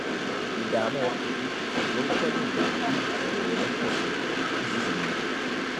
ìdààmú ọkàn àti ìsoríkọ lè mú kí ìṣòro rẹ pọ sí i nísinsìnyí